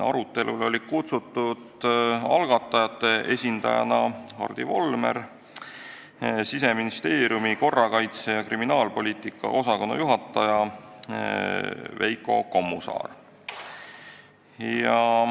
Arutelule olid algatajate esindajana kutsutud Hardi Volmer ning Siseministeeriumi korrakaitse- ja kriminaalpoliitika osakonna juhataja Veiko Kommusaar.